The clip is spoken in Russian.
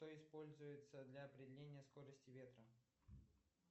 что используется для определения скорости ветра